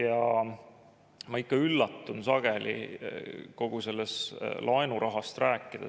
No ma ikka üllatun sageli, kui jutt on laenurahast.